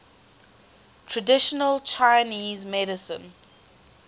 traditional chinese medicine